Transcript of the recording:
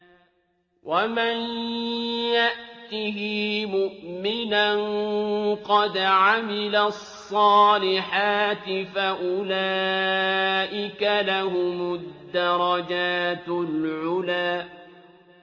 وَمَن يَأْتِهِ مُؤْمِنًا قَدْ عَمِلَ الصَّالِحَاتِ فَأُولَٰئِكَ لَهُمُ الدَّرَجَاتُ الْعُلَىٰ